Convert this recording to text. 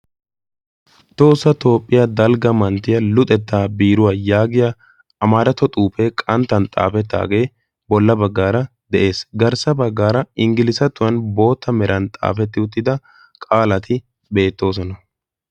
Tohosa toophphiyaa dalgga manttiya luxettaa biiruwaa yaagiya amaarato xuufee qanttan xaafettaagee bolla baggaara de'ees. Garssa baggaara inggilizatuwan bootta meran xaafetti uttida qaalati beettoosona.